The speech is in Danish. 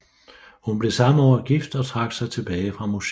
Hun blev samme år gift og trak sig tilbage fra musikken